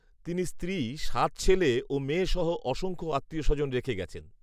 তিনি স্ত্রী, সাত ছেলে ও মেয়ে সহ অসংখ্য আত্মীয় স্বজন রেখে গেছেন